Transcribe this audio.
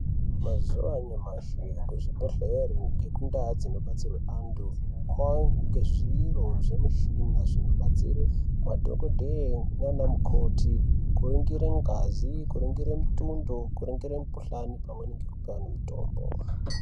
Mazuwa anyamashi kuzvibhendlere nekundaa dzinobatsira antu kwakuwanika zviro zvemichina zvinobetsere madhokodheya nana mukoti kuringira ngazi. Kuringira mutondo, kuringira mikhuhlani pamweni nekupa antu mitombo.